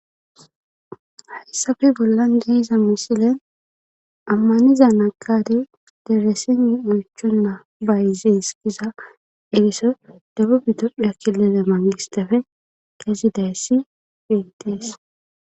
hayssafe bollan de'iza misilen ammaniza nagadey dereseni oychonna bayzis giza eriso debub itophe kilele mangistafe kezidayssi betees